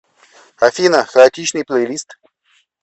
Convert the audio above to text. афина хаотичный плейлист